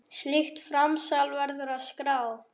Slíkt framsal verður að skrá.